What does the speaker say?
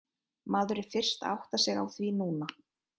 Maður er fyrst að átta sig á því núna.